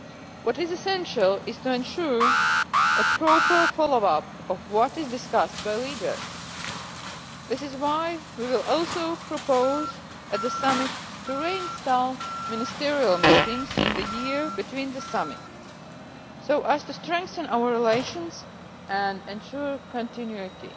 What is essential is to ensure a proper follow up of what is discussed by leaders. This is why we will also propose at the summit to reinstall ministerial meetings in the year between the summits so as to strengthen our relations and ensure continuity.